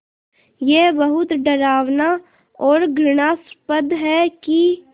ये बहुत डरावना और घृणास्पद है कि